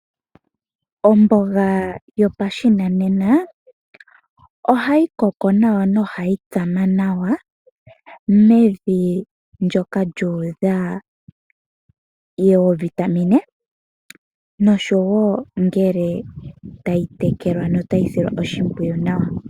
Omboga yopashinanena oha yi koko nawa noha yi tsama nawa mevi ndyoka lyu udha oovitamine, noshowo ngele ta yi tekelwa nota yi silwa oshimpwiyu nawa.